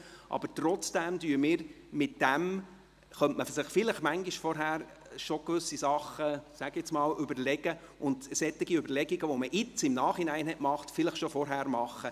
Nichtsdestotrotz könnte man sich gewisse Dinge vielleicht bereits vorher überlegen und Überlegungen, wie man sie nun im Nachhinein gemacht hat, bereits im Vorfeld machen.